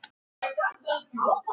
Ég moka úr ofnum og ber hana út.